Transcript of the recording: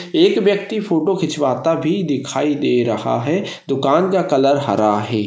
एक व्यक्ति फोटो खिचावाता भी दिखाई दे रहा है दुकान का कलर हरा है।